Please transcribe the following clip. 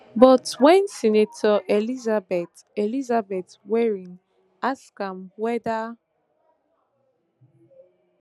but wen senator elizabeth elizabeth warren ask am weda